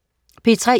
P3: